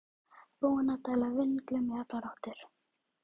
Búinn að dæla vindlum í allar áttir!